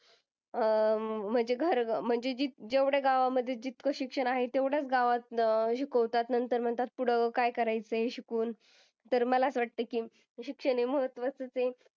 अं म्हणजे घर म्हणजे जे जेवढ्या गावामध्ये जितकं शिक्षण आहे तेवढ्याच गावात अह शिकवतात. नंतर म्हणतात पुढं काय करायचं आहे शिकून. तर मला असं वाटतं की शिक्षण हे महात्वाचंच आहे.